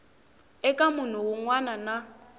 eka munhu wun wana na